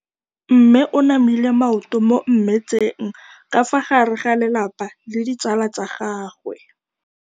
Mme o namile maoto mo mmetseng ka fa gare ga lelapa le ditsala tsa gagwe.